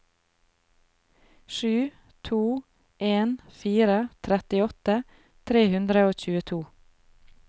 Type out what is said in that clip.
sju to en fire trettiåtte tre hundre og tjueto